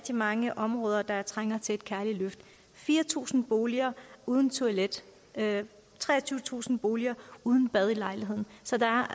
mange områder der trænger til et kærligt løft fire tusind boliger uden toilet treogtyvetusind boliger uden bad i lejligheden så der er